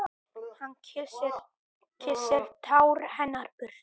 Hann kyssir tár hennar burtu.